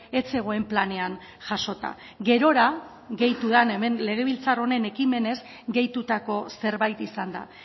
ez zegoen planean jasota gerora gehitu da legebiltzar honen ekimenez gehitutako zerbait izan da